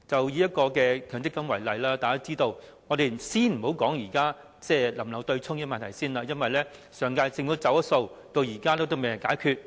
以強積金制度為例，我們先不談是否保留對沖安排，因為上屆政府"走數"，至今仍未解決。